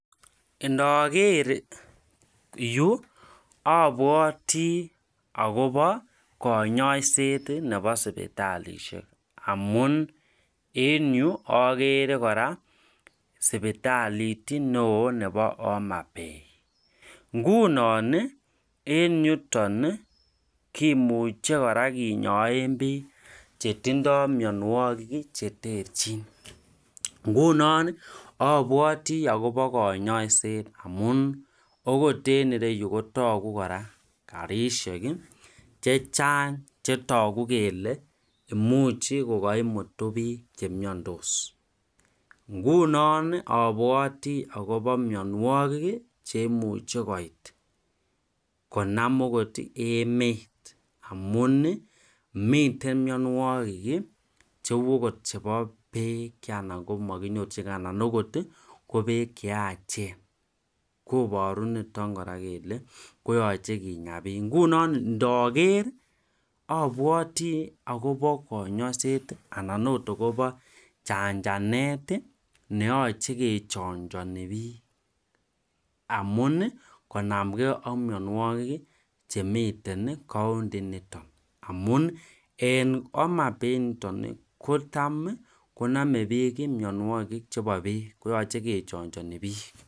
Iniker Yu abwati akobo kanyaiset Nebo sibitalishek amun en Yu agere koraa sibitalit neon Nebo homabay ngunon en yuton kimuche koraa kenyoe bik chetindoi mianwagik cheterchin ngunon abwati akoba kanyaiset amun okot en ireyu kotagu kora rabishek chechang chetagu kele imuch kokaimutu bik chemiandos ngunon abwati akoba mianwagik cheimuche koit konam okot emet amun miten mianwagik cheu okot chebo Beit anan komakinyorchingei kobek cheyachen kobaru niton kora kele ko niton ngunon ndaker abwati akoba kanyaiset anan okot akoba chanchanet neyache kechanchani bik amun konamgei ak mianwagik Chemiten county initon amun en homabay initon kotam kiname mianwagik chebo bek koyache kechanchani bik